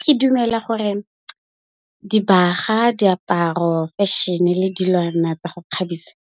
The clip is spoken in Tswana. Ke dumela gore dibaga, diaparo, fashion-e le dilwana tsa go kgabisa